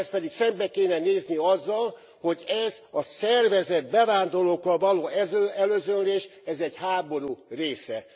Ehhez pedig szembe kéne nézni azzal, hogy ez a szervezett bevándorlókkal való elözönlés ez egy háború része.